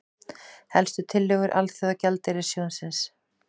Helstu tillögur Alþjóðagjaldeyrissjóðsins